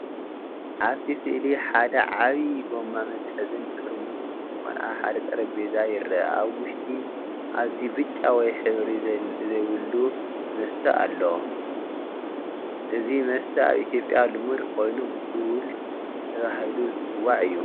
ኣብቲ ስእሊ ሓደ ዓቢ ጎማ መትሓዚን ጥርሙዝ ብርጭቆን ኣብ ሓደ ጠረጴዛ ይርአ። ኣብ ውሽጢ ኣዝዩ ብጫ ወይ ሕብሪ ዘይብሉ መስተ ኣሎ። እዚ መስተ ኣብ ኢትዮጵያ ልሙድ ኮይኑ “ቡል” ተባሂሉ ዝጽዋዕ እዩ።